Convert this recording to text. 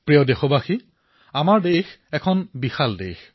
মোৰ মৰমৰ দেশবাসীসকল আমাৰ দেশ ইমান বিশাল